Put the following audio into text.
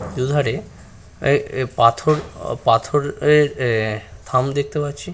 দুধারে এ -এ পাথরপাথর এ -এ থাম দেখতে পাচ্ছি।